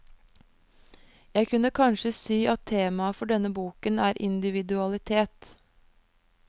Jeg kunne kanskje si at temaet for denne boken er individualitet.